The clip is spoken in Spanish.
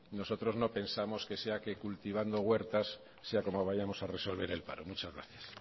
nosotros no pensamos que sea que cultivando huertas sea como vayamos a resolver el paro muchas gracias